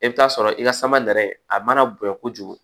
E bɛ taa sɔrɔ i ka sama nɛrɛ a mana bonya kojugu